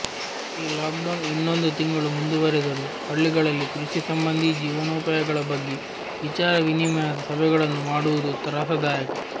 ಈ ಲಾಕ್ಡೌನ್ ಇನ್ನೊಂದು ತಿಂಗಳು ಮುಂದುವರೆದರೂ ಹಳ್ಳಿಗಳಲ್ಲಿ ಕೃಷಿ ಸಂಬಂಧೀ ಜೀವನೋಪಾಯಗಳ ಬಗ್ಗೆ ವಿಚಾರ ವಿನಿಮಯದ ಸಭೆಗಳನ್ನು ಮಾಡುವುದೂ ತ್ರಾಸದಾಯಕ